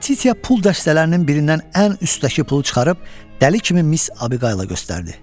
Latitiya pul dəstələrinin birindən ən üstdəki pulu çıxarıb dəli kimi Miss Abiqayıla göstərdi.